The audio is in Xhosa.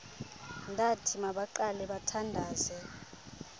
ndathi mabaqale bathandaze